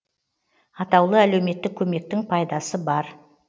атаулы әлеуметтік көмектің пайдасы бар